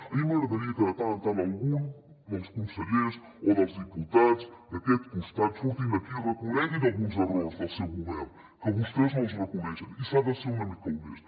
a mi m’agradaria que de tant en tant algun dels consellers o dels diputats d’aquest costat surtin aquí i reconeguin alguns errors del seu govern que vostès no els reconeixen i s’ha de ser una mica honest